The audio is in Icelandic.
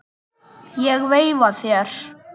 Ég veifa þér.